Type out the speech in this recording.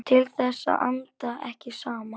Til þess að anda ekki saman.